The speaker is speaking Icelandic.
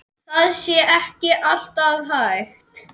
Það sé ekki alltaf hægt.